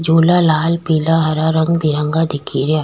झूला लाल पिला हरा रंग बिरंगा दिखे रिया।